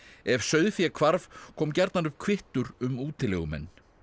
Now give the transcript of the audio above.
ef sauðfé hvarf kom gjarnan upp kvittur um útilegumenn